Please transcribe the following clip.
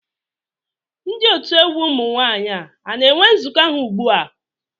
Ndị otu egwu ụmụ nwaanyị a na-enwe nzukọ ha ugbu a?